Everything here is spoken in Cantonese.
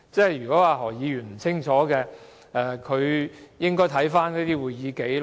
如果何議員不清楚，他便應該查看會議紀錄。